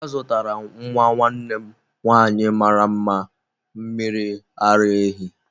Azụtara m nwa nwanne m nwanyị mara mma mmiri ara ehi.